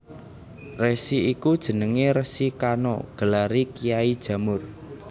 Resi iku jenenge Resi Kano gelare Kyai Jamur